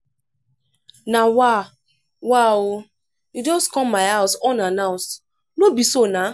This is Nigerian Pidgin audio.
na wa wa o you just come my house unannounced. no be so nah!